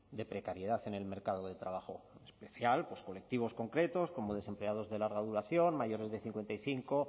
de precariedad en el mercado de trabajo en especial pues colectivos concretos como desempleados de larga duración mayores de cincuenta y cinco